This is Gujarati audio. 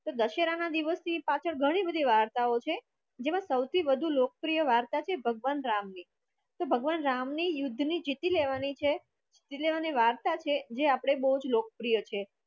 દશેરાના દિવસ પાછળ ઘણી બધી વાર્તાઓ છે જેમાં વધુ લોકપ્રિય વાત છે ભગવાન રામની ભગવાન રામ ની યુદ્ધ ની જીતી લેવાની છે જીતી લેવાની વાર્તા છે જે આપણે બોજ લોકપ્રિય છે.